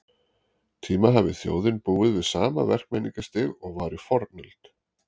tíma hafi þjóðin búið við sama verkmenningarstig og var í fornöld.